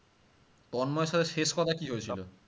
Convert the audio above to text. তন্ময়ের সাথে শেষ কথা কি হয়েছিল?